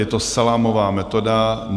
Je to salámová metoda.